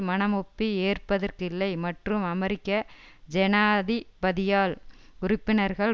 மனமொப்பி ஏற்பதற்கில்லை மற்றும் அமெரிக்க ஜனாதிபதியால் உறுப்பினர்கள்